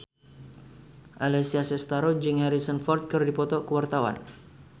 Alessia Cestaro jeung Harrison Ford keur dipoto ku wartawan